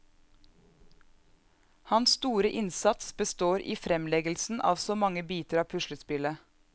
Hans store innsats består i fremleggelsen av så mange biter av puslespillet.